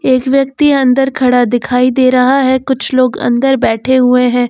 एक व्यक्ति अंदर खड़ा दिखाई दे रहा है कुछ लोग अंदर बैठे हुए है।